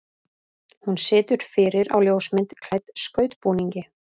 Hún situr fyrir á ljósmynd klædd skautbúningi.